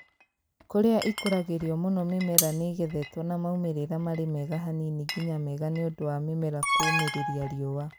Kũria ĩkuragĩrio mũno mĩmera nĩgethetwo na maumĩrĩra marĩ mega hanini nginya mega nĩũndũ wa mĩmera kũũmĩrĩria riũa